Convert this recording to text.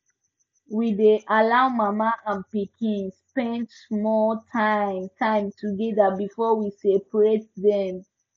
we dey allow mama and pikin spend small time time together before we separate dem